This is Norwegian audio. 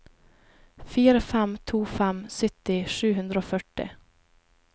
fire fem to fem sytti sju hundre og førti